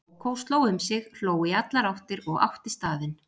Kókó sló um sig, hló í allar áttir og átti staðinn.